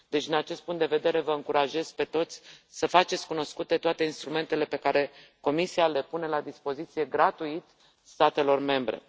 Deci, din acest punct de vedere vă încurajez pe toți să faceți cunoscute toate instrumentele pe care Comisia le pune la dispoziție, gratuit, statelor membre.